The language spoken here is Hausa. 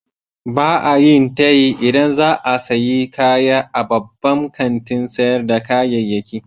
Ba a yin tayi idan za a sayi kaya a babban kantin sayar da kayayyaki.